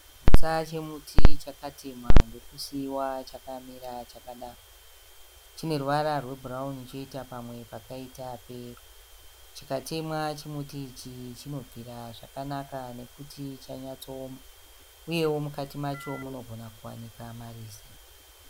Chigutsa chemuti chakatemwa ndokusiiwa chakamira chakadaro. Chine ruvara rwebhurauni choita pamwe pakaita peyero. Chikatemwa chimuti ichi chinobvira zvakanaka nekuti chanyatsooma. Uyewo mukati macho munogona kuwanikwa marize.